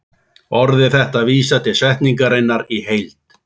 Orðið þetta vísar til setningarinnar í heild.